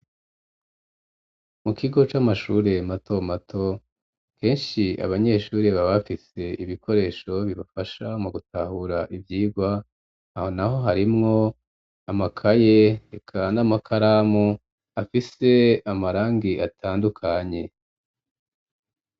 Mu kigo c'amashure mato mato, kenshi abanyeshuri baba bafise ibikoresho bibafasha mu gutahura ivyigwa, aho naho harimwo amakaye, eka n'amakaramu afise amarangi atandukanye.